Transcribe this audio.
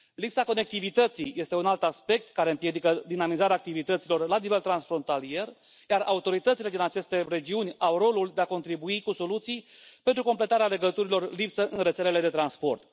Lipsa conectivității este un alt aspect care împiedică dinamizarea activităților la nivel transfrontalier, iar autoritățile din aceste regiuni au rolul de a contribui cu soluții pentru completarea legăturilor lipsă în rețelele de transport.